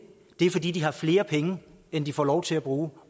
det er fordi de har flere penge end de får lov til at bruge